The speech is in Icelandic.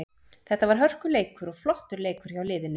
Þetta var hörkuleikur og flottur leikur hjá liðinu.